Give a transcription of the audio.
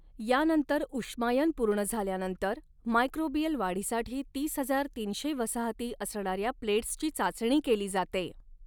यानंतर ऊष्मायन पूर्ण झाल्यानंतर मायक्रोबिअल वाढीसाठी तीस हजार तीनशे वसाहती असणाऱ्या प्लेट्सची चाचणी केली जाते.